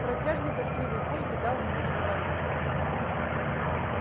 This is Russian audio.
протяжный тоскливый вой не дал ему договорить